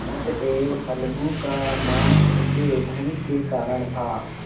अतएव अलगू का मान उनके धन के कारण था